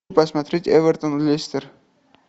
посмотреть эвертон лестер